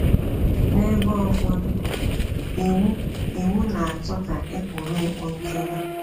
N’ebe ụfọdụ, iwu iwu na - achọ ka e kpuru okpu nchèdo.